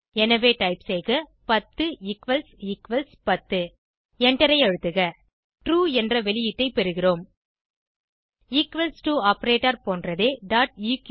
எனவே டைப் செய்க 10 equals equals 10 எண்டரை அழுத்துக ட்ரூ என்ற வெளியீட்டை பெறுகிறோம் ஈக்வல்ஸ் டோ ஆப்பரேட்டர் போன்றதே eql